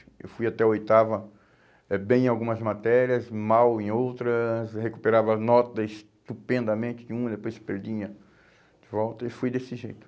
Eu fui até oitava, é bem em algumas matérias, mal em outras, recuperava nota estupendamente de uma, depois perdia de volta e fui desse jeito.